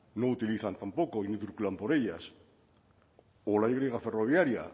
no utilizan tampoco y no circulan por ellas o la y ferroviaría